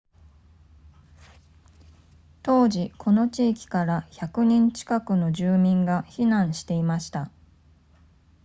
当時この地域から100人近くの住民が避難していました